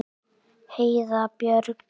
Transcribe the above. Heiða Björg.